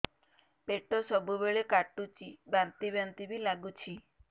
ପେଟ ସବୁବେଳେ କାଟୁଚି ବାନ୍ତି ବାନ୍ତି ବି ଲାଗୁଛି